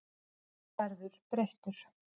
Þú verður breyttur.